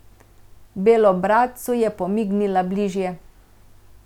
Belobradcu je pomignila bližje.